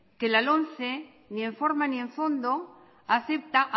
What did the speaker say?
que la lomce ni en forma ni en fondo acepta